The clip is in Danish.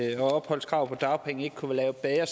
ikke opholdskravet vedrørende dagpenge kunne være lavet